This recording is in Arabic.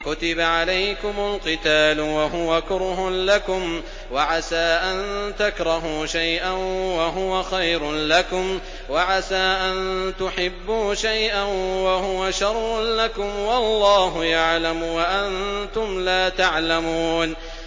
كُتِبَ عَلَيْكُمُ الْقِتَالُ وَهُوَ كُرْهٌ لَّكُمْ ۖ وَعَسَىٰ أَن تَكْرَهُوا شَيْئًا وَهُوَ خَيْرٌ لَّكُمْ ۖ وَعَسَىٰ أَن تُحِبُّوا شَيْئًا وَهُوَ شَرٌّ لَّكُمْ ۗ وَاللَّهُ يَعْلَمُ وَأَنتُمْ لَا تَعْلَمُونَ